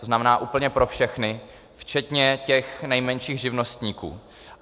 To znamená, úplně pro všechny, včetně těch nejmenších živnostníků.